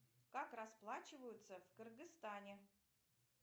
как расплачиваются в кыргызстане